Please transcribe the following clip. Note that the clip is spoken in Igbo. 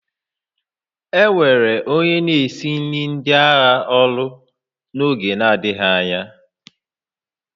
E were onye na-esi nri ndị agha n'ọrụ n'oge na-adịbeghị anya